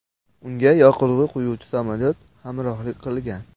Unga yoqilg‘i quyuvchi samolyot hamrohlik qilgan.